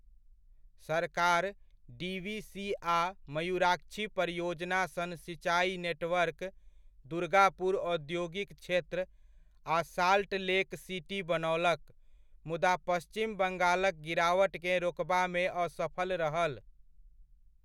सरकार डीवीसी आ मयुराक्षी परियोजना सन सिञ्चाई नेटवर्क, दुर्गापुर औद्योगिक क्षेत्र आ साल्ट लेक सिटी बनौलक, मुदा पश्चिम बङ्गालक गिरावटकेँ रोकबामे असफल रहल।